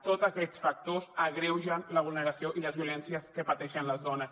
tots aquests factors agreugen la vulneració i les violències que pateixen les dones